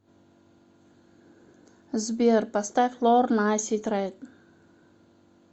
сбер поставь лорн асид рейн